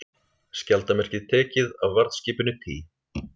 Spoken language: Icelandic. Skjaldarmerkið tekið af varðskipinu Tý